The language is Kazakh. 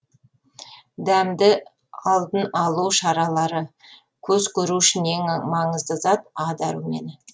дәмді алдын алу шаралары көз көру үшін ең маңызды зат а дәрумені